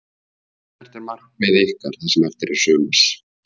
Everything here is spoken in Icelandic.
Hvert er markmið ykkar það sem eftir er sumars?